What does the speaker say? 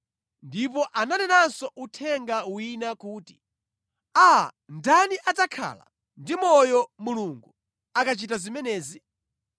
Ndipo ananenanso uthenga wina kuti, “Aa, ndani adzakhala ndi moyo Mulungu akachita zimenezi?